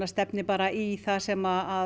stefni bara í það sem